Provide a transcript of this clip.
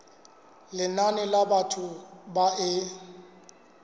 lenane la batho ba e